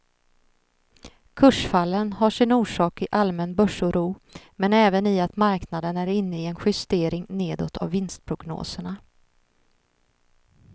Kursfallen har sin orsak i allmän börsoro men även i att marknaden är inne i en justering nedåt av vinstprognoserna.